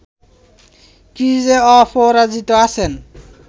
ক্রিজে অপরাজিত আছেন